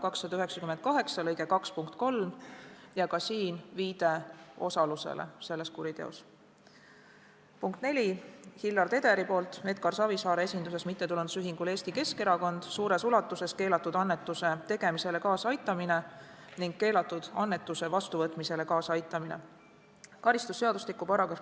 Neljandaks, Hillar Tederi poolt Edgar Savisaare esinduses MTÜ-le Eesti Keskerakond suures ulatuses keelatud annetuse tegemisele kaasaaitamine ning keelatud annetuse vastuvõtmisele kaasaaitamine .